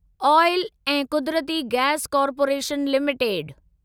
आयल ऐं कुदरती gas corporation limited